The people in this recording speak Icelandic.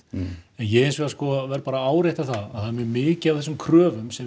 ég verð bara að árétta það að það er mjög mikið af þessum kröfum sem